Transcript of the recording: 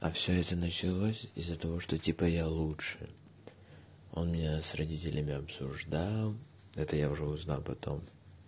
а все это началось из-за того что типа я лучше он меня с родителями обсуждал это я уже узнал потом